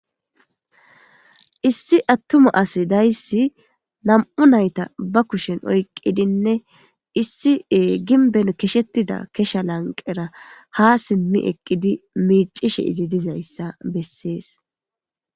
Issi atuma as days 2 maca nayta be kushen oykidinne issi gimbe keshetida kesha lanqera ga sim eqid micishe iz dizaysa beses.